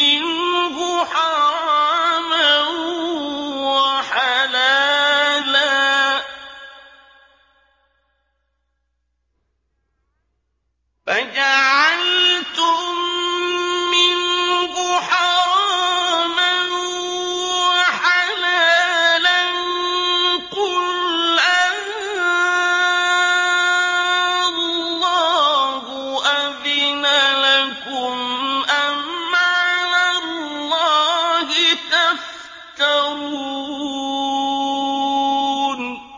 مِّنْهُ حَرَامًا وَحَلَالًا قُلْ آللَّهُ أَذِنَ لَكُمْ ۖ أَمْ عَلَى اللَّهِ تَفْتَرُونَ